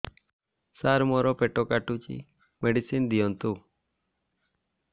ସାର ମୋର ପେଟ କାଟୁଚି ମେଡିସିନ ଦିଆଉନ୍ତୁ